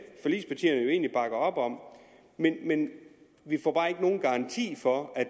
forligspartier jo egentlig bakker op om men men vi får bare ikke nogen garanti for at